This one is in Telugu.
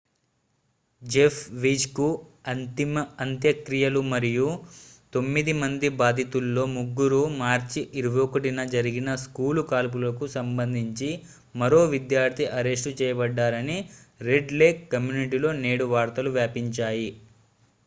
జెఫ్ వీజ్ కు అంత్యక్రియలు మరియు తొమ్మిది మంది బాధితుల్లో ముగ్గురు మార్చి 21న జరిగిన స్కూలు కాల్పులకు సంబంధించి మరో విద్యార్థి అరెస్టు చేయబడ్డారని రెడ్ లేక్ కమ్యూనిటీలో నేడు వార్తలు వ్యాపించాయి